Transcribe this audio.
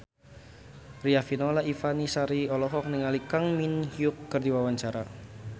Riafinola Ifani Sari olohok ningali Kang Min Hyuk keur diwawancara